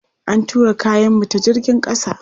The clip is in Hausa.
An tura kayanmu ta jigin ƙasa.